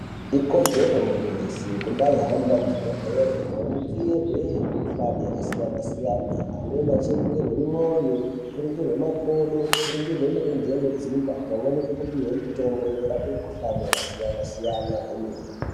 Ikodzero yemuntu weshe kumbayi hambe kuzvibhedhlera kunoringirwa mikhuhlani yakasiyana siyana. Amweni eiringirwe mwoyo, kuringirwa makodo, kuringirwa mirenje inodzimba pamwe nekupihwe mitombo inorape mukhuhlani yakasiyana siyana kwemene.